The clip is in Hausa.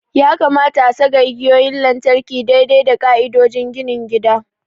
Ya kamata a saka igiyoyin lantarki daidai da ƙa'idodin ginin gida.